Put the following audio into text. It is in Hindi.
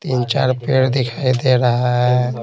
तीन चार पेड़ दिखाई दे रहा है।